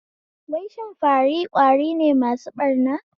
Wai shin fari ƙwari ne masu ɓarna?